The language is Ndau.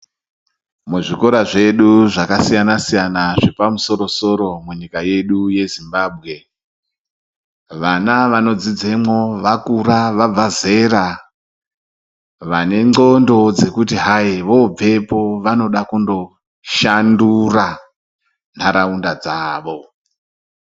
Muzvikora zvedu zvakasiyana siyana zvepamusoro soro nyika yedu yezimbabwe vana vanodzidzamo vakura vabva zera vane ngonxo dzekuti hai vobveoo vanoda kundoshandura nharaunda dzawo.